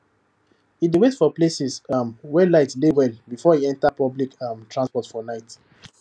e dey wait for places um wey light dey well before e enter public um transport for night